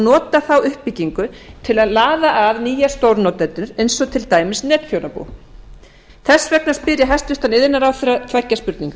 nota þá uppbyggingu til að laða að nýja stórnotendur eins og til dæmis netþjónabú þess vegna spyr ég hæstvirtur iðnaðarráðherra tveggja spurninga